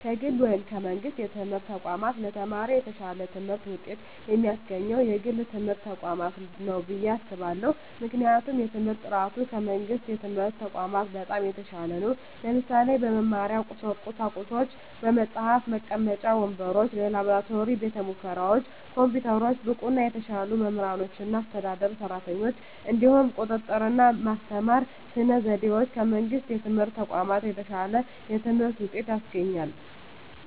ከግል ወይም ከመንግሥት የትምህርት ተቋማት ለተማሪ የተሻለ ትምህርት ውጤት የሚያስገኘው የግል ትምህርት ተቋማት ነው ብየ አስባለሁ ምክንያቱም የትምህርት በጥራቱ ከመንግስት የትምህርት ተቋማት በጣም የተሻለ ነው ለምሳሌ - በመማሪያ ቁሳቁሶች በመፅሀፍ፣ መቀመጫ ወንበሮች፣ የላብራቶሪ ቤተሙከራዎች፣ ኮምፒውተሮች፣ ብቁና የተሻሉ መምህራኖችና አስተዳደር ሰራተኞች፣ እንዲሁም የቁጥጥ ርና በማስተማር ስነ ዘዴዎች ከመንግስት የትምህርት ተቋማት የተሻለ የትምህርት ውጤት ያስገኛል።